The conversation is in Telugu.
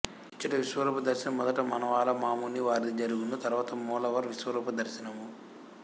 ఇచ్చట విశ్వరూప దర్శనం మొదట మణవాల మాముని వారిది జరుగును తరువాత మూలవర్ విశ్వరూప దర్శనము